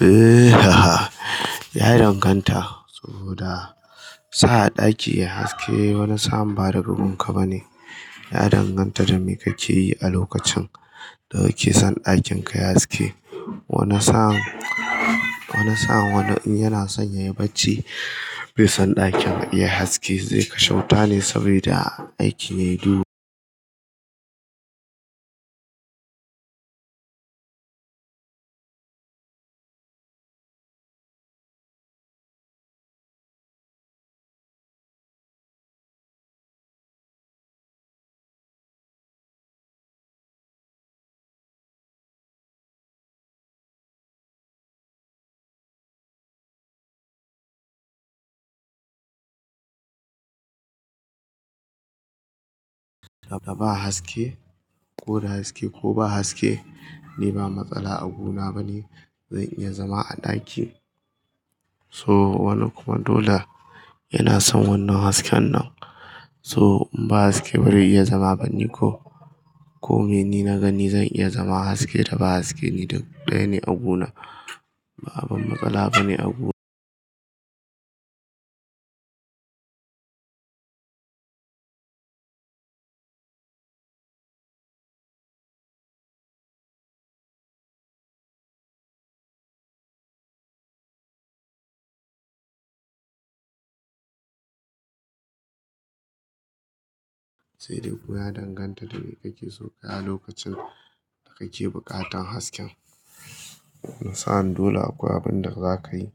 Eh ya danganta, saboda sa ɗaki ya haske, wani samun bada gunka bane. Ya danganta da me kake yi a lokacin da kake son ɗakin ka ya haske. Wani sa'in, wani sa'in yana son yayi bacci, bai son ɗakin yai haske zai kashe wuta ne saboda aiki yayi duhu. Da ba haske, koda haske ko ba haske ni ba matsala a gunu bane, zan iya zama a ɗaki. So wannan kuma dole yana son wannan hasken nan so in ba haske bazai iya zama bani ko. Ko mene nina ga ni zan iya zama haske da ba haske ni duk daya ne a gunu, ba abin matsala bane a gun. Saide kuma ya danganta da mai kakeso kayi a lokacin da kake buƙatar hasken. Wani sa'an dole akwai abinda zakayi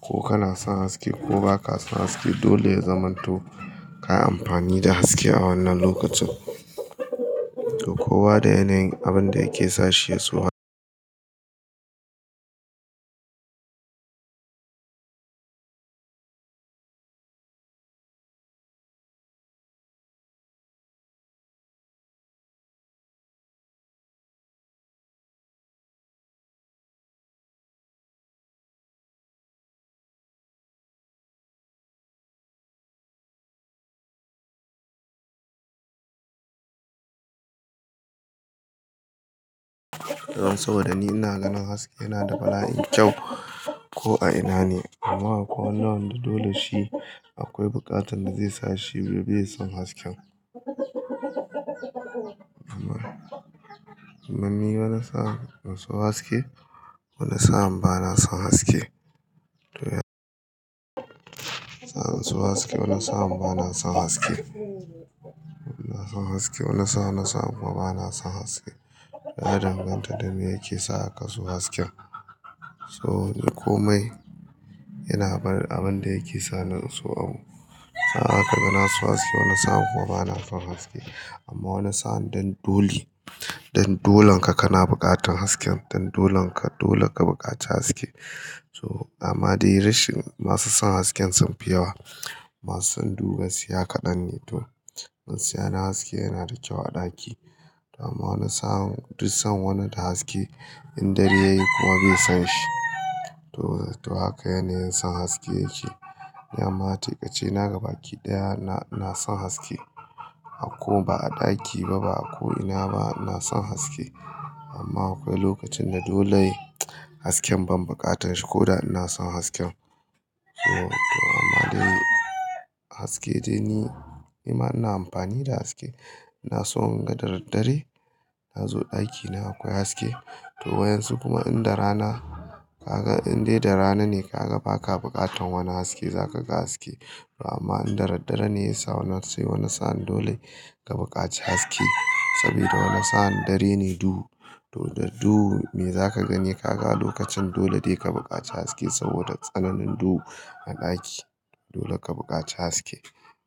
ko kana son haske ko baka son haske dole ya zamanto kayi amfani da haske a wannan lokacin. To kowa da yanayin abin da yake sa shi ya so ha. Saboda ni ina ganin haske yana da bala'in kyau ko a ina ne, amma akwai wani wanda dole shi akwai buƙatan da zai sa shi ya bai son hasken. Amma ni wani sa'an in son haske, wani sa'an bana son haske. Wani sa'an ina son haske, wani sa'an bana son haske. Wani sa'an ina son haske, wani sa'an kuma bana son haske. Ya danganta da me yake sa kazo hasken. So komai yana bar abin da yake sa ni in so abu. Sa'an haka ka ga na so haske wani sa'an kuma bana son haske. Amma wani sa'an dan dole, dan dolon ka kana buƙatan hasken dan dolon ka dole ka buƙaci haske. So amma dai rashin masu son hasken sun fi yawa, masu son duhu gaskiya kaɗan ne. To gaskiya yana haske yana da kyau a ɗaki. Kuma da sa'an duk san wani da haske. In dare yayi kuma bai son shi. To, to haka yanayin son haske yake. Ni amma tai ƙace na gaba ki ɗaya ina ina son haske. A ko ba a ɗaki ba ba a ko ina ba ina son haske. Amma akwai lokacin da dole hasken ban buƙatan shi ko da ina son hasken. So to amma dai haske dai ni, ni ma ina amfani da haske. Ina so in ga da daddare. Na zo ɗaki na akwai haske. To wa'yan su kuma in da rana kaga in dai da rana ne kaga baka bukatan wani haske zaka ga haske. Amma in da daddare ne ya sa wani sai wani sa'an dole ka buƙaci haske. Saboda wani sa'an dare ne duhu, to da duhu me za ka gani ka ga a lokacin dole dai ka buƙaci haske saboda tsananin duhu a ɗaki. Dole ka buƙaci haske.